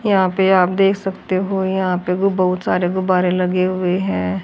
यहा पे आप देख सकते हो यहा पे बु बहुत सारे गुब्बारे लगे हुए है।